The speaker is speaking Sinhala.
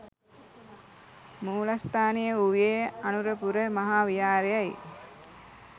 මූලස්ථානය වූයේ අනුරපුර මහා විහාරයයි.